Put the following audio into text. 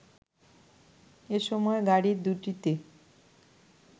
এ সময় গাড়ি দুটিতে